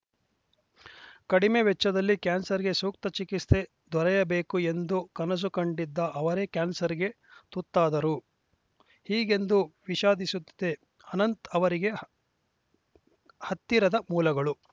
ಕಡಿಮೆ ವೆಚ್ಚದಲ್ಲಿ ಕ್ಯಾನ್ಸರ್‌ಗೆ ಸೂಕ್ತ ಚಿಕಿತ್ಸೆ ದೊರೆಯಬೇಕು ಎಂದು ಕನಸು ಕಂಡಿದ್ದ ಅವರೇ ಕ್ಯಾನ್ಸರ್‌ಗೆ ತುತ್ತಾದರು ಹೀಗೆಂದು ವಿಷಾದಿಸುತ್ತದೆ ಅನಂತ್‌ ಅವರಿಗೆ ಹತ್ತಿರದ ಮೂಲಗಳು